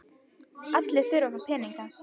Allir þurfa að fá peninga.